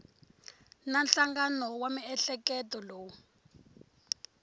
na nhlangano wa miehleketo lowu